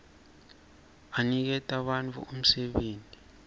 aniketa bantfu umsebenti